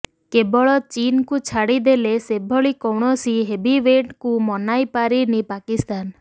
କେବଳ ଚୀନକୁ ଛାଡିଦେଲେ ସେଭଳି କୌଣସି ହେଭିୱେଟଙ୍କୁ ମନାଇପାରିନି ପାକିସ୍ତାନ